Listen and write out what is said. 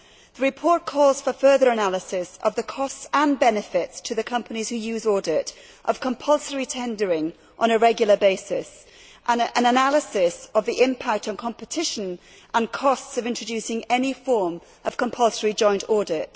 The report calls for further analysis of the costs and benefits to the companies who use audit, of compulsory tendering on a regular basis, and of the impact on competition, and costs, of introducing any form of compulsory joint audit.